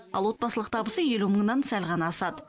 ал отбасылық табысы елу мыңнан сәл ғана асады